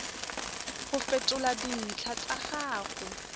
go fetola dintlha tsa gago